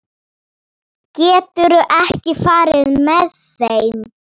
Þetta vilja þau vera.